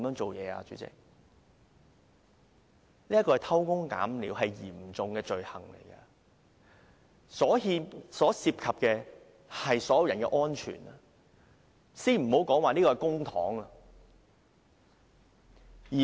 這是偷工減料，是嚴重罪行，牽涉到所有人的安全，先不說這筆是公帑。